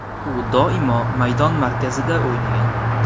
U doimo maydon markazida o‘ynagan.